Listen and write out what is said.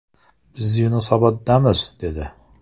Biz Yunusoboddamiz’, dedi.